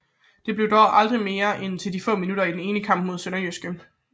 Det blev dog aldrig til mere end de få minutter i den ene kamp mod SønderjyskE